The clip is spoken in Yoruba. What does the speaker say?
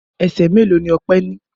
Ẹsẹ̀ mélòó ni Ọpẹ́ ní?